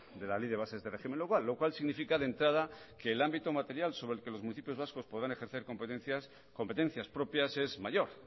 de la ley de bases de régimen local lo cual significa de entrada que el ámbito material sobre el que los municipios vascos podrán ejercer competencias propias es mayor